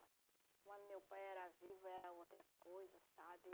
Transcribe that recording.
Quando meu pai era vivo, era outra coisa, sabe?